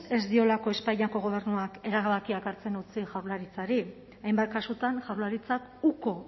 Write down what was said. ez diolako espainiako gobernuak erabakiak hartzen utzi jaurlaritzari hainbat kasutan jaurlaritzak uko